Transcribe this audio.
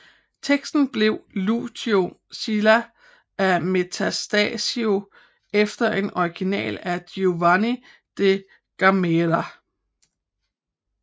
Teksten blev Lucio Silla af Metastasio efter en original af Giovanni de Gamerra